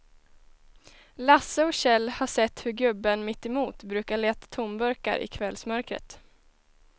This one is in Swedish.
Lasse och Kjell har sett hur gubben mittemot brukar leta tomburkar i kvällsmörkret.